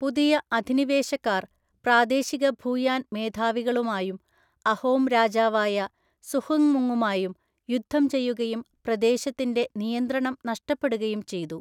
പുതിയ അധിനിവേശക്കാർ പ്രാദേശിക ഭൂയാൻ മേധാവികളുമായും അഹോം രാജാവായ സുഹുങ്‌മുങ്ങുമായും യുദ്ധം ചെയ്യുകയും പ്രദേശത്തിന്റെ നിയന്ത്രണം നഷ്ടപ്പെടുകയും ചെയ്തു.